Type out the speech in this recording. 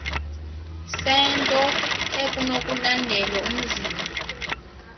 sento ekunokulandelwa umzila